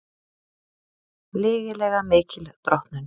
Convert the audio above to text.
Lygilega mikil drottnun